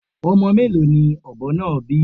Ọmọ mélòó ni ọ̀bọ náà bí?